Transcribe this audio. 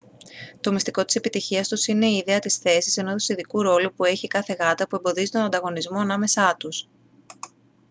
το μυστικό της επιτυχίας τους είναι η ιδέα της θέσης ενός ειδικού ρόλου που έχει η κάθε γάτα που εμποδίζει τον ανταγωνισμό ανάμεσά τους